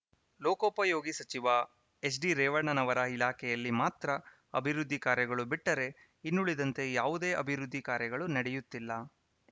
ಲೋಕೋಪಯೋಗಿ ಸಚಿವ ಎಚ್‌ಡಿರೇವಣ್ಣನವರ ಇಲಾಖೆಯಲ್ಲಿ ಮಾತ್ರ ಅಬಿವೃದ್ಧಿ ಕಾರ್ಯಗಳು ಬಿಟ್ಟರೆ ಇನ್ನುಳಿದಂತೆ ಯಾವುದೇ ಅಭಿವೃದ್ದಿ ಕಾರ್ಯಗಳು ನಡೆಯುತ್ತಿಲ್ಲ